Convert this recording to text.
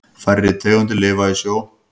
Færri tegundir lifa í sjó.